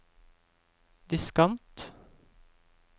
diskant